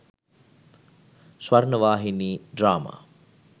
swrnawahini drama